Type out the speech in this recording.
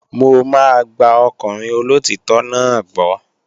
Mò máa gba ọkùnrin olóòtítọ́ náà gbọ́